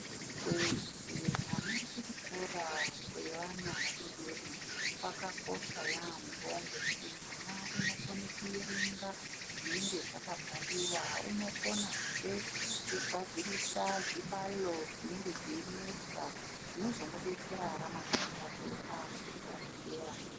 Kuendese mwana kuchikoro kwevana vadodori kwakakosha yaambo ngekuti mwana unokone kuerenga zvinenge zvakabhaliwala unokonezve kugadzirisa zvibalo zvinenge zveinesa zvinozomudetsera ramangwana rake akuzvikora zvedera.